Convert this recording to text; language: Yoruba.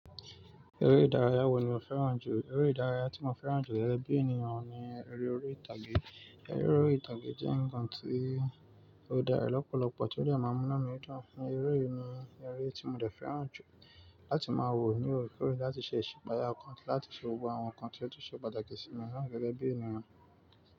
Eré ìdárayá wo ni o fẹ́ràn jù? Eré ìdárayá tí mo fẹ́ràn jù gégé bíi ènìyàn ni eré orí ìtàgé. Eré orí ìtàgé jẹ́ ǹkan tí ó dára lọ́pọ̀lọpọ̀ tí ó dè máa mú nú mi dùn. Eré yìí ni eré tí mo dẹ̀ fẹ́ràn jù láti máa wò ní ò rè kọ̀rẹ́ láti ṣe ìṣẹ̀ṣípaya ọ̀kan láti ṣe òwò àwọn ǹkan tí ó tún ṣe pàtàkì sí mi na gégé bíi ènìyàn.